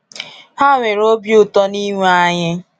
Ha nwere obi ụtọ n'inwe anyị.